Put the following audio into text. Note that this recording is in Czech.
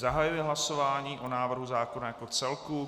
Zahajuji hlasování o návrhu zákona jako celku.